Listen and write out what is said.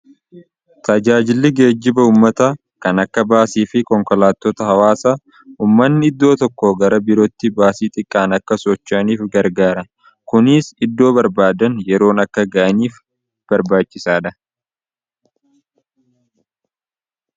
tajaajilli geejiba ummata kan akka baasii fi konkolaatota hawaasa ummanni iddoo tokko gara birootti baasii xiqqaan akka sochaaniif gargaara kuniis iddoo barbaadan yeroon akka ga'aniif barbaachisaadha